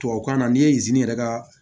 Tubabukan na n'i ye yɛrɛ ka